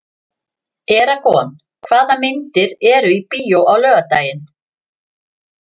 Eragon, hvaða myndir eru í bíó á laugardaginn?